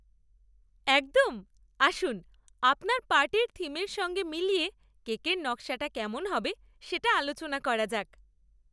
একদম! আসুন আপনার পার্টির থিমের সঙ্গে মিলিয়ে কেকের নকশাটা কেমন হবে সেটা আলোচনা করা যাক।